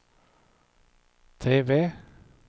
TV